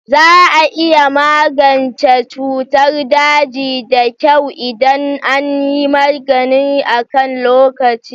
Za a iya magance cutar daji da kyau idan an yi magani akan lokaci.